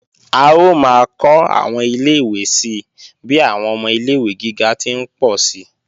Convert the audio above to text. A ó máa kó àwọn ilé-ìwé si bí àwọn ọmọ ilé-ìwé gíga ti ń pọ̀ si